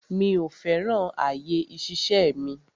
Mi ò fẹ́ràn àyè ìṣiṣẹ́ mi.